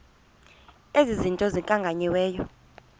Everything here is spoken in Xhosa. ezi zinto zikhankanyiweyo